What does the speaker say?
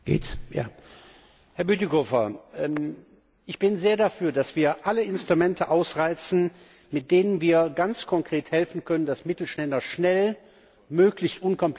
Herr Bütikofer, ich bin sehr dafür, dass wir alle Instrumente ausreizen, mit denen wir ganz konkret helfen können, dass Mittelständler schnell und möglichst unkompliziert an Mittel kommen.